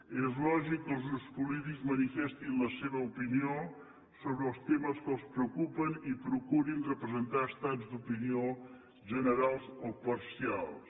i és lògic que els grups polítics manifestin la seva opinió sobre els temes que els preocupen i procurin representar estats d’opinió generals o parcials